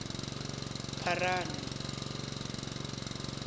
pharano